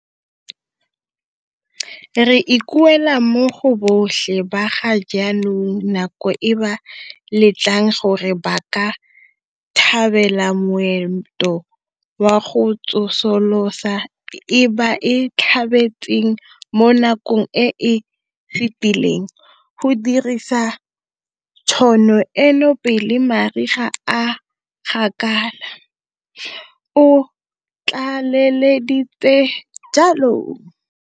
Re ikuela mo go botlhe ba ga jaanong nako e ba letlang gore ba ka tlhabela moento wa go tsosolosa e ba e tlhabetseng mo nakong e e fetileng go dirisa tšhono eno pele mariga a gakala, o tlaleleditse jalo.